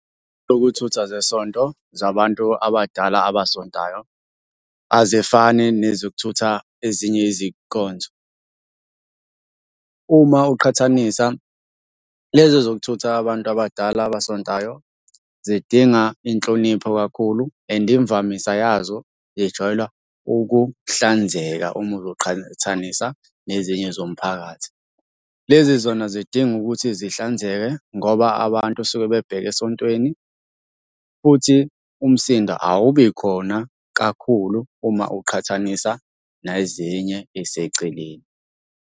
Sokuthutha zesonto zabantu abadala abasontayo azifani nezokuthutha ezinye izikonzo. Uma uqhathanisa, lezi ezokuthutha abantu abadala abasontayo zidinga inhlonipho kakhulu, and imvamisa yazo zijwayela ukuhlanzeka uma uzoqhathanisa nezinye zomphakathi. Lezi zona zidinga ukuthi zihlanzeke ngoba abantu suke bebheke esontweni, futhi umsindo awubi khona kakhulu uma uqhathanisa nezinye ey'seceleni.